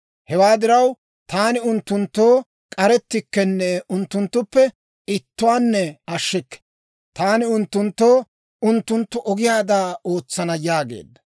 Hewaa diraw, taani unttunttoo k'arettikkenne unttunttuppe ittuwaanne ashshikke. Taani unttunttoo unttunttu ogiyaada ootsana» yaageedda.